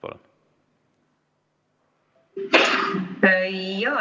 Palun!